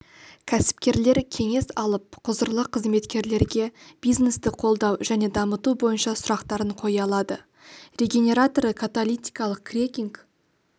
кәсіпкерлер кеңес алып құзырлы қызметкерлерге бизнесті қолдау және дамыту бойынша сұрақтарын қоя алады регенераторы каталитикалық крекинг